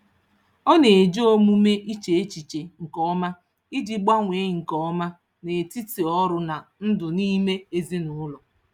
Ọ na-eji omume iche echiche nke ọma iji gbanwee nke ọma n'etiti ọrụ na ndụ nime ezinụụlọ